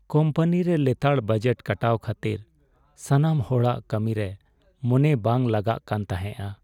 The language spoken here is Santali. ᱠᱚᱢᱯᱟᱱᱤ ᱨᱮ ᱞᱮᱛᱟᱲ ᱵᱟᱡᱮᱴ ᱠᱟᱴᱟᱣ ᱠᱷᱟᱹᱛᱤᱨ ᱥᱟᱱᱟᱢ ᱦᱚᱲᱟᱜ ᱠᱟᱹᱢᱤᱨᱮ ᱢᱚᱱᱮ ᱵᱟᱝ ᱞᱟᱜᱟᱜ ᱠᱟᱱ ᱛᱟᱦᱮᱸᱜᱼᱟ ᱾